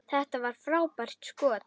Þetta var frábært skot.